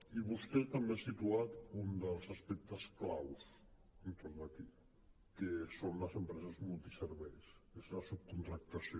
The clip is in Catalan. i vostè també ha situat un dels aspectes clau entorn d’aquí que són les empreses multiserveis que és la subcontractació